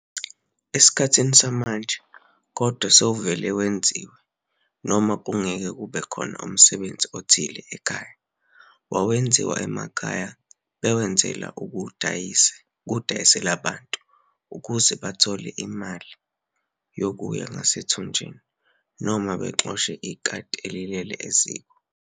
Esikhathini samanje kodwa sewuvele wenziwe noma kungeke kube khona umsebenzi othile ekhaya, bayawenza emakhaya bewenzela ukuwudayisela abantu ukuze bethole imali yokuya ngasethunjena noma bexoshe ikati elilele eziko.